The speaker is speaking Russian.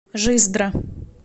жиздра